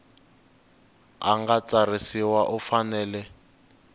a nga tsarisiwa u fanele